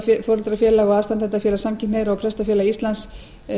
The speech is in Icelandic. foreldrafélag og aðstandendafélag samkynhneigðra og prestafélag íslands